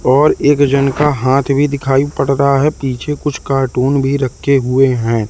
और एक जन का हाथ भी दिखाई पड़ रहा है पीछे कुछ कार्टून भी रखे हुए हैं।